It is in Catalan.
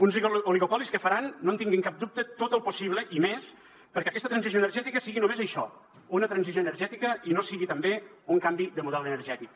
uns oligopolis que faran no en tinguin cap dubte tot el possible i més perquè aquesta transició energètica sigui només això una transició energètica i no sigui també un canvi de model energètic